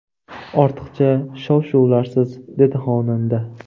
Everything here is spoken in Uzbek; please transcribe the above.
Ortiqcha shov-shuvlarsiz”, dedi xonanda.